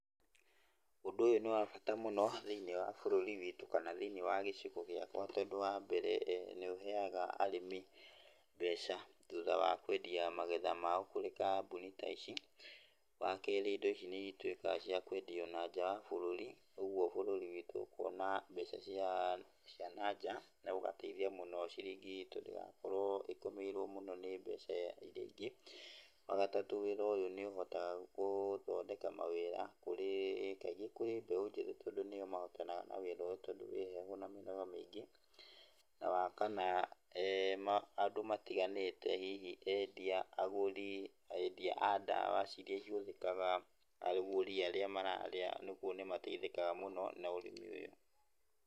Ũndũ ũyũ nĩ wa bata mũno thĩiniĩ wa bũrũri witũ kana thĩiniĩ wa gĩcigo gĩakwa tondũ wa mbere nĩ ũheaga arĩmi mbeca thutha wa kwendia magetha mao kũrĩ kambuni ta ici, wa keri indo ici nĩ ituĩkaga cia kwendio nanja wa bũrũri, ũguo bũrũri witũ ũkona mbeca cia nanja na ũgateithia mũno ciringi itũ ndĩgakorwo ĩkomeirwo mũno nĩ mbeca iria ingĩ, wa gatatũ wĩra ũyũ nĩ ũhotaga gũthondeka mawĩra kũrĩ, kaingĩ kũrĩ mbeũ njĩthĩ tondũ nĩo mahotanaga na wĩra ũyũ tondũ wĩ heho na mĩnoga mĩingĩ, na wa kana andũ matiganĩte hihi endia, agũri, endia a ndawa iria ihũthĩkaga na agũri arĩa mararĩa, ũguo nĩ mateithĩkaga mũno na ũrĩmi ũyũ.